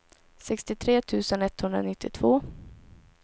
sextiotre tusen etthundranittiotvå